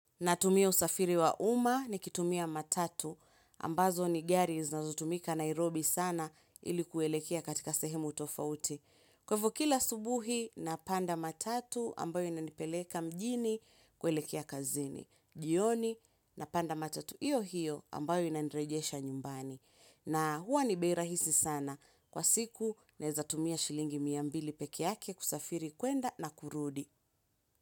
Natumia usafiri wa uma ni kitumia matatu, ambazo ni Gari zinazotumika Nairobi sana ilikuwelekea katika sehemu tofauti. Kwaivyo kila subuhi, napanda matatu ambayo inanipeleka mjini kuelekea kazini. Jioni, napanda matatu, iyo hiyo ambayo inaniregesha nyumbani. Na huwa ni bei rahisi sana. Kwa siku, neza tumia shilingi mia mbili pekee yake kusafiri kwenda na kurudi.